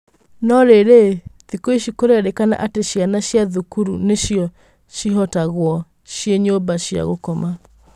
No rĩrĩ, thikũici kũrerĩkana atĩ cĩana cia thũkuru nĩcio cihotagwo cĩĩ nyũmba cĩa gũkoma.